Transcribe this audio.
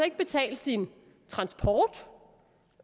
ikke betalt sin transport